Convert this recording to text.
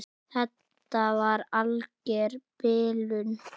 Þetta var alger bilun.